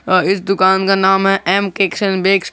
अ इस दुकान का नाम एम केक्स एंड बेक्स ।